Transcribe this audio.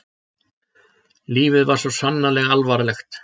Lífið var svo sannarlega alvarlegt.